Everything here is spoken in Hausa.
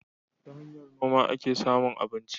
Ta hanyar noma ake samun abinci.